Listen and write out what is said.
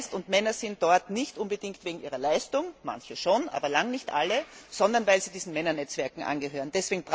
Und Männer sind dort nicht unbedingt wegen ihrer Leistung manche schon, aber lange nicht alle sondern weil sie diesen Männernetzwerken angehören.